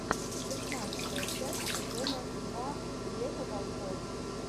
шестнадцатая часть сезона два лето волков